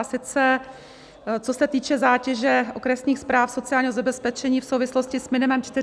A sice co se týče zátěže okresních správ sociálního zabezpečení v souvislosti s minimem 400 korun.